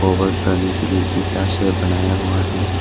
करने के लिए ईंटा से बनाया हुआ है।